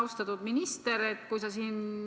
Austatud minister!